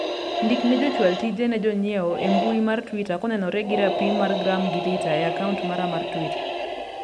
ndik ne jochwal tije ne jonyiewo e mbui mar twita konenore gi rapim mar gram gi lita e akaunt mara mar twita